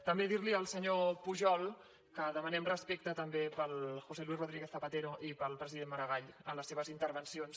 també dir li al senyor pujol que demanem respecte també pel josé luís rodríguez zapatero i pel president maragall en les seves intervencions